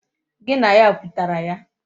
Gi na ya kwutara ya?